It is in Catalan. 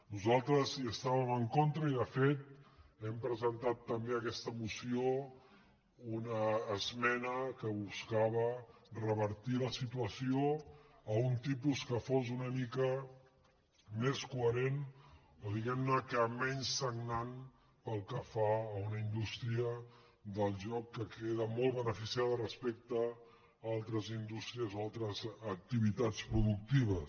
nosaltres hi estàvem en contra i de fet hem presentat també a aquesta moció una esmena que buscava revertir la situació a un tipus que fos una mica més coherent o diguem que menys sagnant pel que fa a una indústria del joc que queda molt beneficiada respecte a altres indústries o a altres activitats productives